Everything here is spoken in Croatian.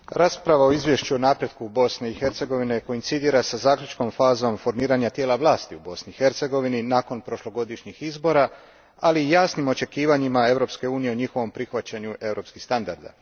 Gospođo predsjedavajuća, rasprava o izvješću o napretku Bosne i Hercegovine koincidira sa zaključnom fazom formiranja tijela vlasti u Bosni i Hercegovini nakon prošlogodišnjih izbora, ali i jasnim očekivanjima Europske unije o njihovom prihvaćanju europskih standarda.